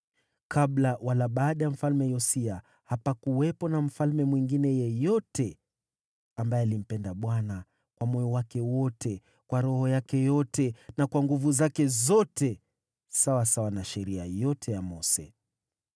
Kabla wala baada ya Mfalme Yosia hapakuwepo na mfalme mwingine yeyote ambaye alimpenda Bwana kwa moyo wake wote, kwa roho yake yote, na kwa nguvu zake zote, sawasawa na Sheria yote ya Mose.